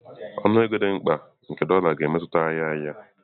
Ọnụ ego dị mkpa nke dolá ga-emetụta ahịa ahịa.